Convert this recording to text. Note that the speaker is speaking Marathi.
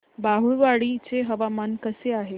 बाभुळवाडी चे हवामान कसे आहे